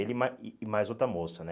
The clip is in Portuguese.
Ele e mais e mais outra moça, né?